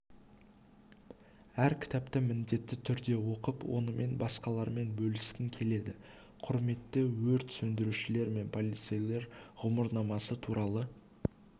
әр кітапты міндетті түрде оқып онымен басқалармен бөліскің келеді құрметті өрт сөндірушілер мен полицейлер ғұмырнамасы туралы